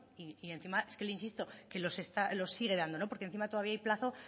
y encima es que le insisto que los sigue dando no porque encima todavía hay plazo